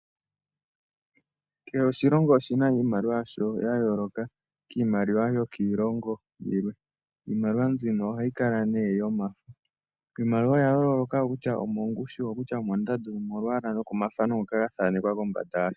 Kehe oshilongo oshi na iimaliwa yasho yayooloka kiimaliwa yokiilongo yilwe. Iimaliwa mbyino ohayi kala nee yomafo. Iimaliwa oyayooloka oko kutya omongushu, oko kutya omondanda, yimwe olwaala nokomathano ngoka ga thaanekwa kombanda yasho.